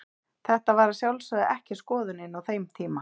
Þetta var að sjálfsögðu ekki skoðunin á þeim tíma.